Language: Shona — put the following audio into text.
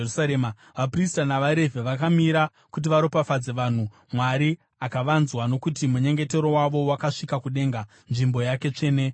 Vaprista navaRevhi vakamira kuti varopafadze vanhu, Mwari akavanzwa, nokuti munyengetero wavo wakasvika kudenga, nzvimbo yake tsvene yokugara.